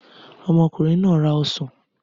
Ọmọkùnrin náà ra ọsàn.